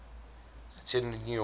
attended new york